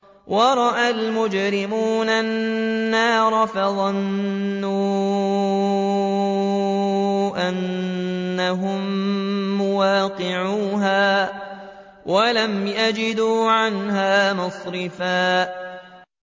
وَرَأَى الْمُجْرِمُونَ النَّارَ فَظَنُّوا أَنَّهُم مُّوَاقِعُوهَا وَلَمْ يَجِدُوا عَنْهَا مَصْرِفًا